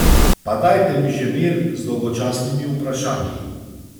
Pa dajte mi že mir z dolgočasnimi vprašanji.